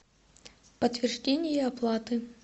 подтверждение оплаты